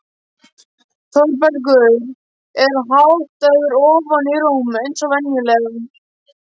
Þórbergur er háttaður ofan í rúm eins og venjulega.